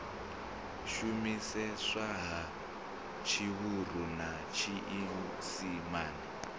shumiseswa ha tshivhuru na tshiisimane